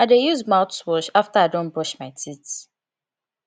i dey use mouthwash after i don brush my teeth